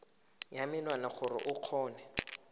ya menwana gore o kgone